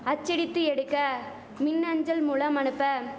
அச்சடித்து எடுக்க மின்அஞ்சல் மூலம் அனுப்ப